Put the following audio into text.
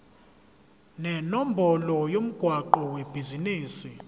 nenombolo yomgwaqo webhizinisi